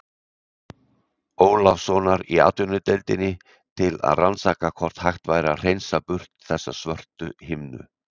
Ólafssonar í Atvinnudeildinni til að rannsaka hvort hægt væri að hreinsa burt þessa svörtu himnu.